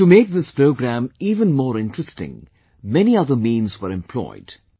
To make this programme even more interesting many other means were employed